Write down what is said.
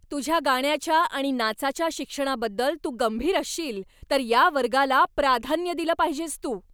तुझ्या गाण्याच्या आणि नाचाच्या शिक्षणाबद्दल तू गंभीर असशील तर या वर्गाला प्राधान्य दिलं पाहिजेस तू.